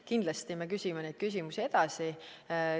Kindlasti me küsime neid küsimusi edasi.